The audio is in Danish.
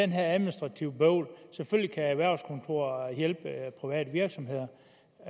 det administrative bøvl selvfølgelig kan erhvervskontoret hjælpe private virksomheder